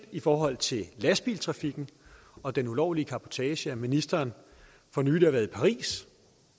i forhold til lastbiltrafikken og den ulovlige cabotage jo set at ministeren for nylig har været i paris